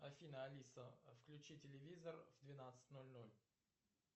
афина алиса включи телевизор в двенадцать ноль ноль